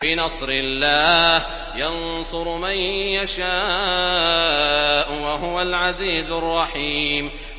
بِنَصْرِ اللَّهِ ۚ يَنصُرُ مَن يَشَاءُ ۖ وَهُوَ الْعَزِيزُ الرَّحِيمُ